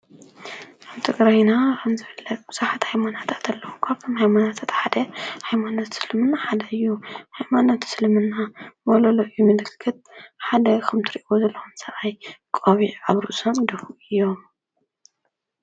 ትግራይና ከም ዝፍለጥ ብዙሓት ዓይነታት ሃይማኖታት አለዋ። እዚ ሓደ ሃይማኖት እስልምና ሓደ እዩ። ካብ ሃይማኖት እስልምና ትሪእይዎ ዘለኩም ሓደ እዩ ::